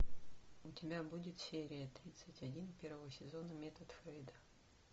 у тебя будет серия тридцать один первого сезона метод фрейда